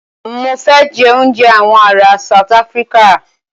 Mọ fẹ jẹ òúnjẹ awọn ará South Africa.